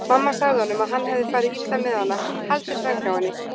Mamma sagði honum að hann hefði farið illa með hana, haldið fram hjá henni.